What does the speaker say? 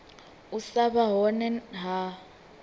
u sa vha hone ha